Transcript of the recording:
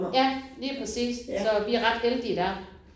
Ja lige præcis. Så vi ret heldige der